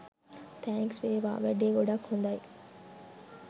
Thanks වේවා! වැඩේ ගොඩක් හොදයි